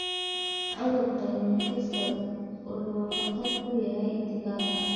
Cudurka Newcastle wuxuu khatar ku yahay digaagga.